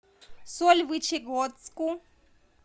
сольвычегодску